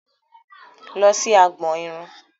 Lọ sí agbọn irun!